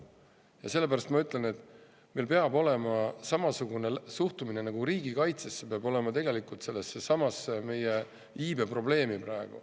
Ja sellepärast ma ütlen, et samasugune suhtumine nagu riigikaitsesse peab meil olema tegelikult sellessesamasse meie praegusesse iibeprobleemi.